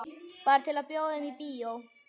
Bara til að bjóða þeim í bíó.